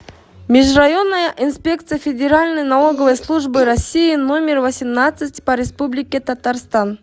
межрайонная инспекция федеральной налоговой службы россии номер восемнадцать по республике татарстан